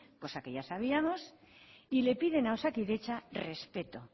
cosa que ya sabíamos y le piden a osakidetza respeto